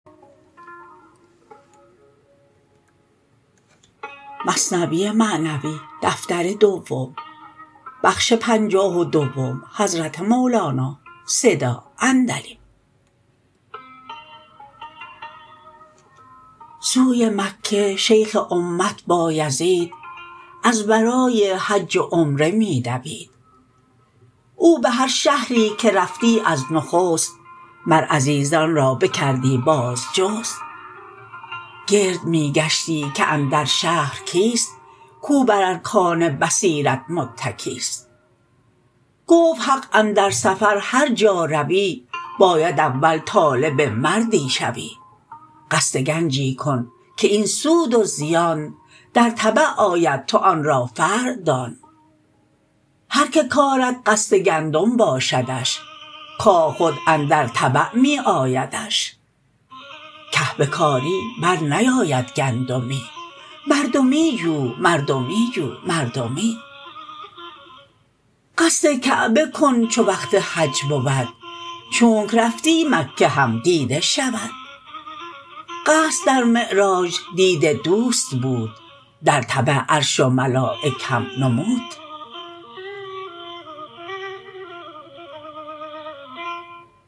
سوی مکه شیخ امت بایزید از برای حج و عمره می دوید او به هر شهری که رفتی از نخست مر عزیزان را بکردی بازجست گرد می گشتی که اندر شهر کیست کو بر ارکان بصیرت متکیست گفت حق اندر سفر هر جا روی باید اول طالب مردی شوی قصد گنجی کن که این سود و زیان در تبع آید تو آن را فرع دان هر که کارد قصد گندم باشدش کاه خود اندر تبع می آیدش که بکاری بر نیاید گندمی مردمی جو مردمی جو مردمی قصد کعبه کن چو وقت حج بود چونک رفتی مکه هم دیده شود قصد در معراج دید دوست بود درتبع عرش و ملایک هم نمود